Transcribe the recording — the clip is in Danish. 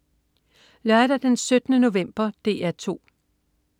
Lørdag den 17. november - DR 2: